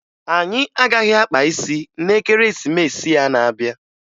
Anyị agaghị akpa isi na Ekeresimesi a n'abịa